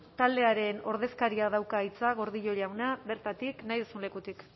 taldearen ordezkariak dauka hitza gordillo jauna bertatik nahi duzun lekutik